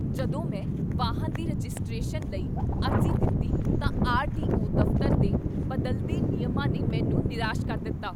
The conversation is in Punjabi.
ਜਦੋਂ ਮੈਂ ਵਾਹਨ ਦੀ ਰਜਿਸਟ੍ਰੇਸ਼ਨ ਲਈ ਅਰਜ਼ੀ ਦਿੱਤੀ ਤਾਂ ਆਰ.ਟੀ.ਓ. ਦਫ਼ਤਰ ਦੇ ਬਦਲਦੇ ਨਿਯਮਾਂ ਨੇ ਮੈਨੂੰ ਨਿਰਾਸ਼ ਕਰ ਦਿੱਤਾ।